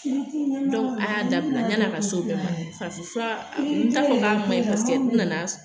Dɔnku, a y'a dabila yani a ka se o bɛɛ ma farafin fura, n t'a fɔ k'a ma ɲin, paseke n nana sɔrɔ.